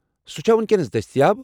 سُہ چھا وُنكینس دستیاب ؟